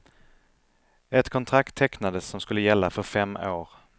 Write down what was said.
Ett kontrakt tecknades som skulle gälla för fem år.